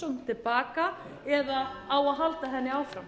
evrópusambandsumsóknina til baka eða á að halda henni áfram